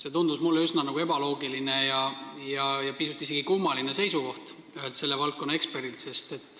See tundus mulle üsna ebaloogiline ja pisut isegi kummaline seisukoht ühelt valdkonna eksperdilt.